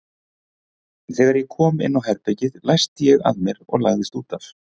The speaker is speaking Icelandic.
Þegar ég kom inn á herbergið læsti ég að mér og lagðist út af.